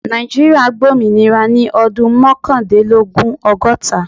Nàìjíríà gba ominira ni ọdun mọkandinlogun- ọgọta.